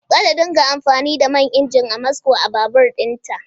Za ta dunga amfani da mai injin Amasco a babur ɗin ta